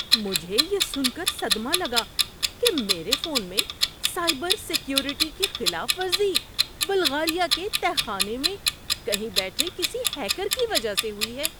مجھے یہ سن کر صدمہ لگا کہ میرے فون میں سائبر سیکیورٹی کی خلاف ورزی بلغاریہ کے تہہ خانے میں کہیں بیٹھے کسی ہیکر کی وجہ سے ہوئی ہے۔